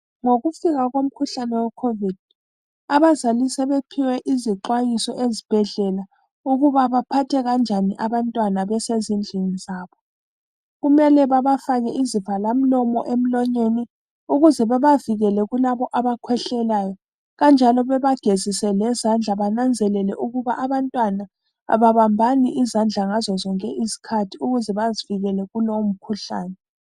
Ngokufika komkhuhlane we covid, abazali sebephiwe izixwayiso ezibhedlela, ukuba baphathe kanjani abantwana besezindlini zabo. Kumele babafake izivalamlomo emlonyeni ukuze bebavikele kulabo abakhwehlelayo kanjalo bebagezise lezandla bananzelele ukuba abantwana ababambani izandla ngazo zonke izikhathi ukuze bazivikele kulomkhuhlane.